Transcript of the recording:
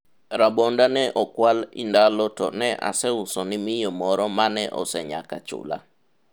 rabonda ne okwal indalo to ne aseuso ni miyo moro mane osenyaka chula